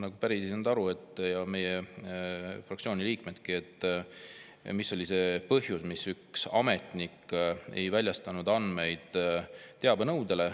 Ma päris ei saanud aru, ja meie fraktsiooni liikmed ka, mis oli see põhjus, miks üks ametnik ei väljastanud teabenõude andmeid.